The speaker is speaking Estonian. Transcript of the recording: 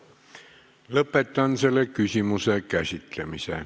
Lõpetan selle küsimuse käsitlemise.